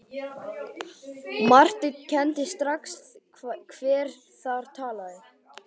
Marteinn kenndi strax hver þar talaði.